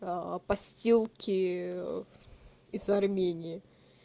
пастилки из армении